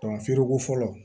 feereko fɔlɔ